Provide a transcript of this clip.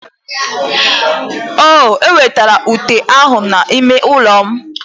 O wetara ute ahụ n'ime ụlọ m.